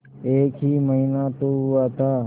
एक ही महीना तो हुआ था